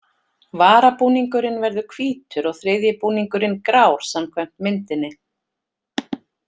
Varabúningurinn verður hvítur og þriðji búningurinn grár samkvæmt myndinni.